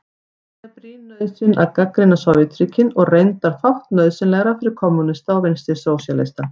Það er brýn nauðsyn að gagnrýna Sovétríkin og reyndar fátt nauðsynlegra fyrir kommúnista og vinstrisósíalista.